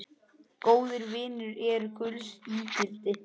Góðir vinir eru gulls ígildi.